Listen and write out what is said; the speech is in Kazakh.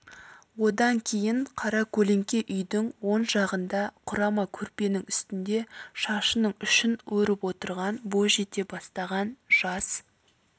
одан кейін қара көлеңке үйдің оң жағында құрама көрпенің үстінде шашының ұшын өріп отырған бой жете бастаған жас